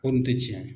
Ko nin tɛ tiɲɛ ye